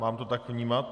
Mám to tak vnímat?